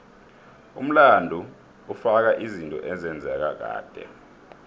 umlando ufaka izinto ezenzeka kade